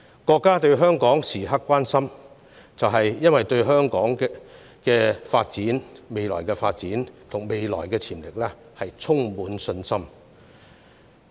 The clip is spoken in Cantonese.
國家時刻關心香港，正因對香港未來的發展潛力充滿信心。